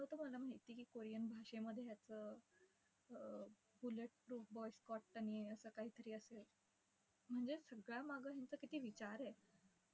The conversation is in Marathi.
तो तुम्हाला माहित आहे की korean भाषेमध्ये याचं अं असं काहीतरी असेल. म्हणजे सगळ्या मागं यांचा किती विचार आहे.